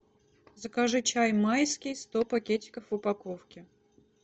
закажи чай майский сто пакетиков в упаковке